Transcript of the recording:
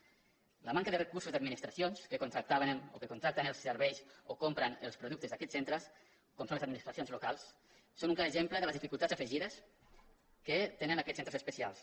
la manca de recursos d’admi·nistracions que contractaven o que contracten els ser·veis o compren els productes d’aquests centres com són les administracions locals són un clar exemple de les dificultats afegides que tenen aquests centres es·pecials